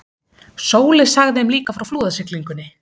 Sóley sagði þeim líka frá flúðasiglingunni.